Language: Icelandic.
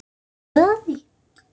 Hvernig fóruð þið að því?